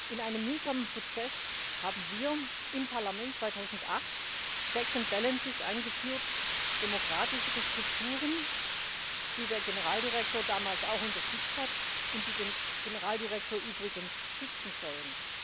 In einem mühsamen Prozess haben wir im Parlament 2008 checks and balances eingeführt, demokratischere Strukturen, die der Generaldirektor damals auch unterstützt hat und die den Generaldirektor übrigens schützen sollen.